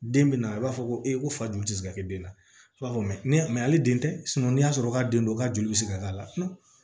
Den bɛ na a b'a fɔ ko ee ko fajugu tɛ se ka kɛ den na i b'a fɔ ni a mɛ hali den tɛ n'i y'a sɔrɔ ka den don k'a joli bɛ se ka k'a la